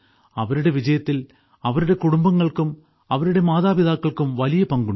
അവരുടെ വിജയത്തിൽ അവരുടെ കുടുംബങ്ങൾക്കും അവരുടെ മാതാപിതാക്കൾക്കും വലിയ പങ്കുണ്ട്